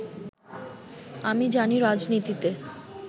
আমি জানি রাজনীতিতে